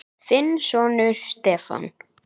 Þinn sonur, Stefán.